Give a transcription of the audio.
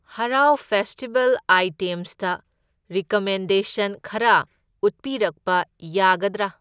ꯍꯔꯥꯎ ꯐꯦꯁꯇꯤꯚꯦꯜ ꯑꯥꯢꯇꯦꯝꯁꯇ ꯔꯤꯀꯃꯦꯟꯗꯦꯁꯟ ꯈꯔ ꯎꯠꯄꯤꯔꯛꯄ ꯌꯥꯒꯗ꯭ꯔꯥ?